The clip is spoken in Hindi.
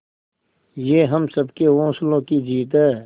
ये हम सबके हौसलों की जीत है